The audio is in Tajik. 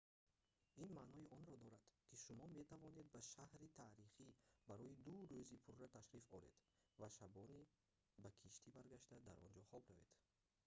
ин маънои онро дорад ки шумо метавонед ба шаҳри таърихӣ барои ду рӯзи пурра ташриф оред ва шабона ба киштӣ баргашта дар он ҷо хоб равед